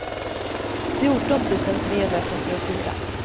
fjorton tusen trehundratrettiofyra